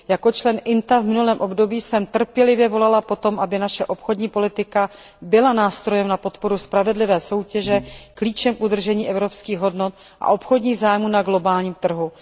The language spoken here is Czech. Jako členka výboru INTA v minulém období jsem trpělivě volala po tom, aby naše obchodní politika byla nástrojem na podporu spravedlivé soutěže, klíčem k udržení evropských hodnot a obchodních zájmů na globálním trhu.